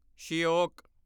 Shyok